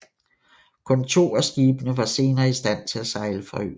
Kun to af skibene var senere i stand til at sejle fra øen